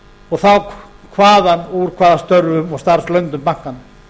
og þá hvaðan úr hvaða störfum og starfslönd bankanna